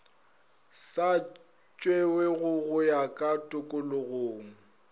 sa tšewego go ya tokologong